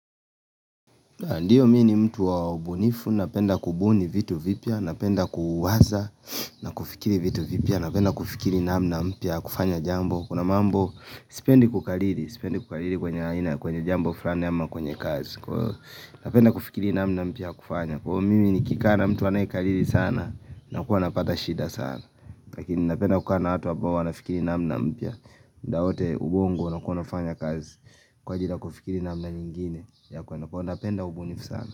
Ndio mimi ni mtu waubunifu, napenda kubuni vitu vipya, napenda kuwaza, napenda kufikiri vitu vipya, napenda kufikiri namna mpya, ya kufanya jambo. Kuna mambo, sipendi kukariri, sipendi kukariri kwenye jambo fulani ama kwenye kazi. Napenda kufikiri namna mpya ya kufanya. Kwa hiyo mimi ni kikaa na mtu anayekariri sana, nakuwa napata shida sana. Lakini napenda kukaa na watu ambao, wanafikiri namna mpya. Mda wote ubongo, unakuwa unafanya kazi, kwa ajili ya kufikiri namna nyingine. Ya kwenu kwa hiyo napenda ubunifu sana.